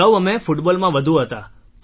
અગાઉ અમે ફૂટબોલ માં વધુ હતા